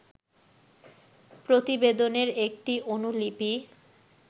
প্রতিবেদনের একটি অনুলিপি